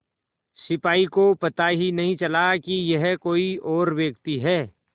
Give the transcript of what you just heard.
सिपाही को पता ही नहीं चला कि यह कोई और व्यक्ति है